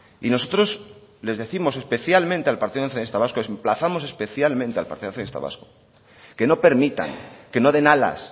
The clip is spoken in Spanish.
y nosotros les décimos especialmente al partido nacionalista vasco emplazamos especialmente al partido nacionalista vasco que no permitan que no den alas